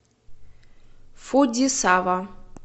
фудзисава